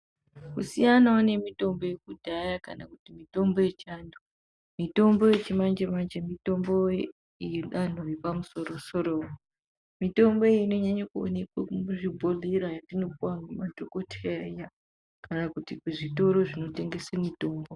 Kusiyanawo nemitombo yekudhaya kana kuti mitombo yechiantu, mitombo yechimanje-manje mitombo yedanho repamusoro-soro. Mitombo iyi inonyanye kuonekwe muzvibhohlera yatinopuwa ngemadhokoteya iya, kana kuti kuzvitoro zvinotengese mitombo.